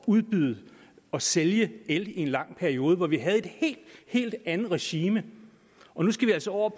udbyde og sælge el i en lang periode hvor vi havde et helt helt andet regime nu skal vi altså over